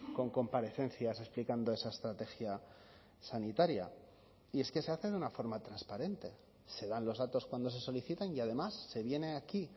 con comparecencias explicando esa estrategia sanitaria y es que se hace de una forma transparente se dan los datos cuando se solicitan y además se viene aquí